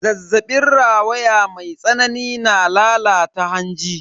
Zazzabin rawaya mai tsanani na lalata hanji.